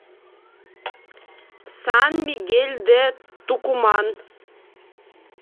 сан мигель де тукуман